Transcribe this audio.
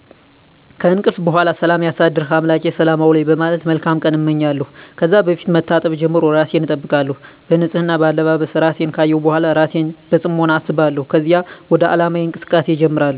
ከእንቅልፍ በሗላ ሠላም ያሳደርሕ አምላኬ ሰላም አውለኝ በማለት መልካም ቀን አመኛለሁ። ከዛ ከፊት መታጠብ ጀምሮ እራሴን አጠብቃለሁ። በንፅህና፣ በአለባበስ፣ እራሴን ካየሁ በሗላ እራሴን በፅሞና አስባለሁከዚያ ወደ ዓላማየ እንቅስቃሴ እጀምራሐሁ።